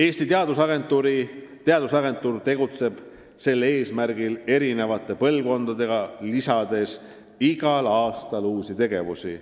Eesti Teadusagentuur tegeleb sel eesmärgil eri põlvkondadega, lisades igal aastal uusi tegevusi.